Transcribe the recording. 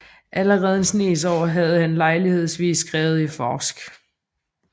Allerede en Snes Aar havde han lejlighedsvis skrevet i forsk